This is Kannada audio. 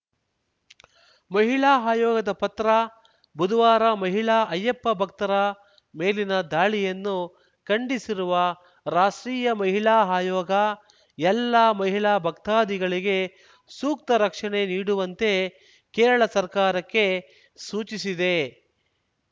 ಮಹಿಳಾ ಆಯೋಗದ ಪತ್ರ ಬುಧವಾರ ಮಹಿಳಾ ಅಯ್ಯಪ್ಪ ಭಕ್ತರ ಮೇಲಿನ ದಾಳಿಯನ್ನು ಖಂಡಿಸಿರುವ ರಾಷ್ಟ್ರೀಯ ಮಹಿಳಾ ಆಯೋಗ ಎಲ್ಲಾ ಮಹಿಳಾ ಭಕ್ತಾದಿಗಳಿಗೆ ಸೂಕ್ತ ರಕ್ಷಣೆ ನೀಡುವಂತೆ ಕೇರಳ ಸರ್ಕಾರಕ್ಕೆ ಸೂಚಿಸಿದೆ